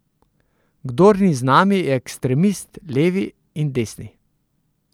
Kdor ni z nami, je ekstremist, levi in desni.